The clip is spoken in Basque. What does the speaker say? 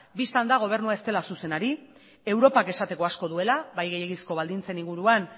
bista da gobernua ez dela zuzen ari europar esateko asko duela bai gehiegizko baldintzen inguruan